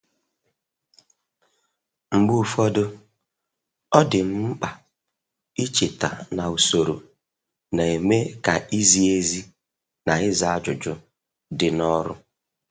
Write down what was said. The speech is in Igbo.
Mgbe ụfọdụ, ọ dị m mkpa icheta na usoro na-eme ka izi ezi na ịza ajụjụ dị n'ọrụ.